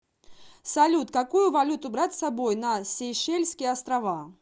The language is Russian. салют какую валюту брать с собой на сейшельские острова